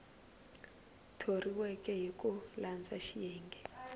thoriweke hi ku landza xiyenge